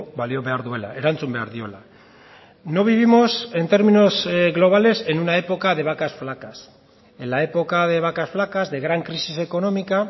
balio behar duela erantzun behar diola no vivimos en términos globales en una época de vacas flacas en la época de vacas flacas de gran crisis económica